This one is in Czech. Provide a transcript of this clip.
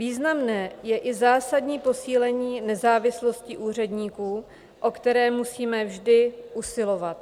Významné je i zásadní posílení nezávislosti úředníků, o které musíme vždy usilovat.